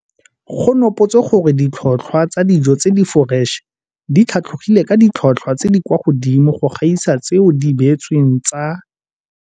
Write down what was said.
Go nopotswe gore ditlhotlhwa tsa dijo tse di foreše di tlhatlhogile ka ditlhotlhwa tse di kwa godimo go gaisa tseo di beetsweng tsa.